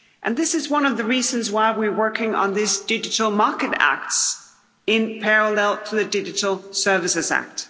This is one of the reasons why we're working on this Digital Markets Act in parallel with the Digital Services Act.